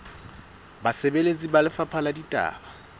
basebeletsi ba lefapha la ditaba